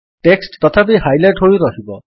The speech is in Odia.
ଟେକ୍ସଟ୍ ତଥାପି ହାଇଲାଇଟ୍ ହୋଇ ରହିବ